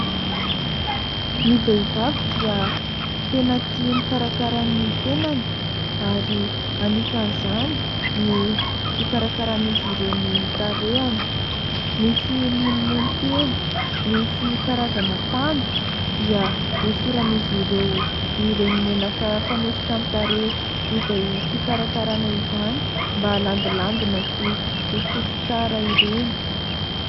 Ny vehivavy dia tena tia mikarakara ny tenany ary anisan'izany ny fikarakaran'izy ireo ny tarehany. Misy monomony kely, misy karazana panda dia hosoran'izy ireo ireny menaka fanosotra amin'ny tareha izay fikarakarana izany mba halandilandina sy ho fotsy tsara ireny.